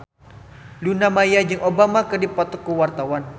Luna Maya jeung Obama keur dipoto ku wartawan